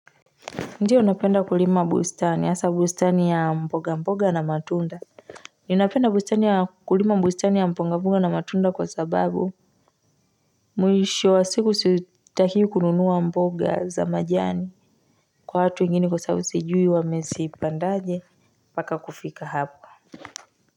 Ndiyo napenda kulima bustani, hasa bustani ya mboga mboga na matunda Ninaapenda kulima bustani ya mboga mboga na matunda kwasababu Mwisho wa siku sitakiwi kununua mboga za majani kwa watu wengine kwasabu sijui wamezipandaje mpaka kufika hapa.